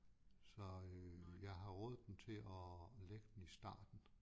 Så øh jeg har rådet dem til og lægge den i starten